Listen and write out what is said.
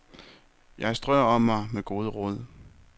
Jeg strøer om mig med gode råd.